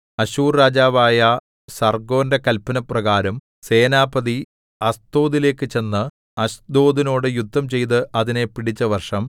അശ്ശൂർ രാജാവായ സർഗ്ഗോന്റെ കല്പനപ്രകാരം സേനാപതി അസ്തോദിലേക്കു ചെന്ന് അശ്ദോദിനോടു യുദ്ധം ചെയ്ത് അതിനെ പിടിച്ച വർഷം